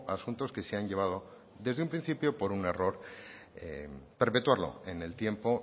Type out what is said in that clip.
a asuntos que se han llevado desde un principio por un error perpetuado en el tiempo